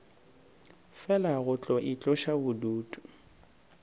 fela go tlo itloša bodutu